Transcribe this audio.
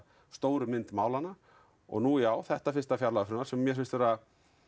stóru mynd málanna og nú já þetta fyrsta fjárlagafrumvarp sem mér finnst vera